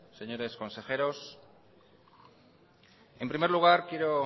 señores consejeros en primer lugar quiero